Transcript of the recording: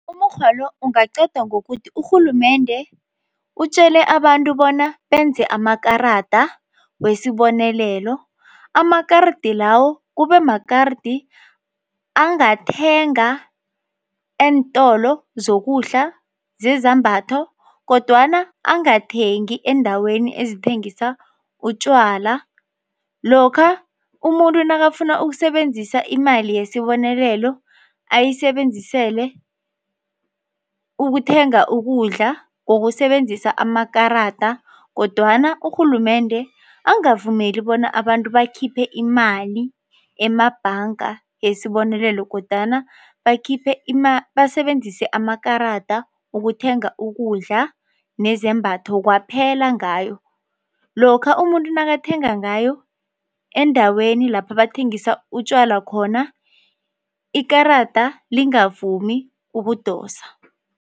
Umukghwa lo ungaqedwa ngokuthi urhulumende utjele abantu bona benze amakarada wesibonelelo. Amakaridi lawo kube makaridi angathenga eentolo zokudla zezambatho kodwana angathengi eendaweni ezithengisa utjwala. Lokha umuntu nakafuna ukusebenzisa imali yesibonelelo ayisebenzisele ukuthenga ukudla ngokusebenzisa amakarada kodwana urhulumende angavumeli bona abantu bakhiphe imali emabhanga yesibonelelo kodwana bakhiphe basebenzise amakarada ukuthenga ukudla nezembatho kwaphela ngayo. Lokha umuntu nakathenga ngayo endaweni lapha bathengisa utjwala khona ikarada lingavumi ukudosa.